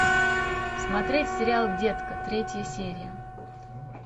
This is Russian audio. смотреть сериал детка третья серия